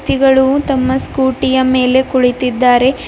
ವ್ಯಕ್ತಿಗಳು ತಮ್ಮ ಸ್ಕೂಟಿ ಯ ಮೇಲೆ ಕುಳಿತಿದ್ದಾರೆ.